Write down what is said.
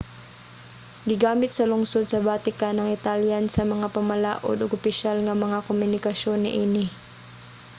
gigamit sa lungsod sa vatican ang italian sa mga pamalaod ug opisyal nga mga komunikasyon niini